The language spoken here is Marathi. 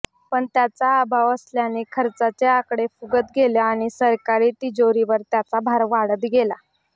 पण त्याचा अभाव असल्याने खर्चाचे आकडे फुगत गेले आणि सरकारी तिजोरीवर त्याचा भार वाढत गेला